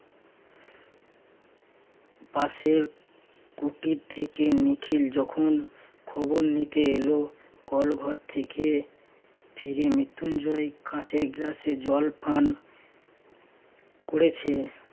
পাশের কুটির থেকে নিখিল যখন খবর নিতে এল কল ঘর থেকে ফিরে মৃত্যুঞ্জয় কাঁচের গ্লাসে জল পান করেছেন